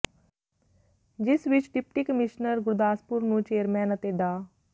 ਜਿਸ ਵਿੱਚ deputy commissioner Gurdaspur ਨੂੰ ਚੇਅਰਮੈਨ ਅਤੇ ਡਾ